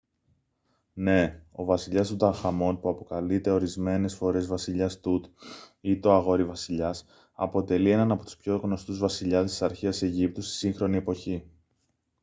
ναι! ο βασιλιάς τουταγχαμών που αποκαλείται ορισμένες φορές «βασιλιάς τουτ» ή «το αγόρι-βασιλιάς» αποτελεί έναν από τους πιο γνωστούς βασιλιάδες της αρχαίας αιγύπτου στη σύγχρονη εποχή